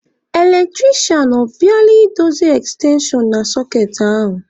Eletrisha, ọ bịala I dozi ekstenshon na sọkeetị ahụ?